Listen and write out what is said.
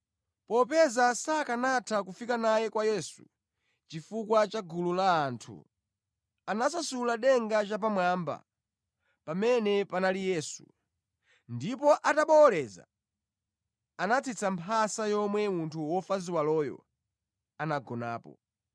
Popeza sakanatha kufika naye kwa Yesu chifukwa cha gulu la anthu, anasasula denga chapamwamba pamene panali Yesu, ndipo atabowoleza, anatsitsa mphasa yomwe munthu wofa ziwaloyo anagonapo.